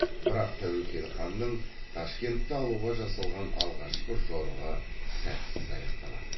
бірақ тәуекел ханның ташкентті алуға жасалған алғашқы жорығы сәтсіз аяқталады